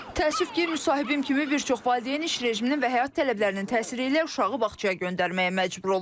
Təəssüf ki, müsahibim kimi bir çox valideyn iş rejiminin və həyat tələblərinin təsiri ilə uşağı bağçaya göndərməyə məcbur olur.